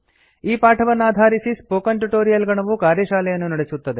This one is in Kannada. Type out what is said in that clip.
ಈ ಪಾಠವನ್ನಾಧಾರಿಸಿ ಸ್ಪೋಕನ್ ಟ್ಯುಟೊರಿಯಲ್ ಗಣವು ಕಾರ್ಯಶಾಲೆಯನ್ನು ನಡೆಸುತ್ತದೆ